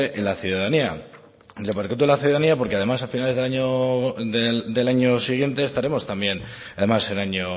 en la ciudadanía y repercute en la ciudadanía porque además a finales de año del año siguiente estaremos también además en año